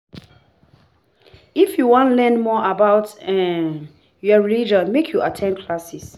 If you wan learn more about um your religion, make you at ten d classes.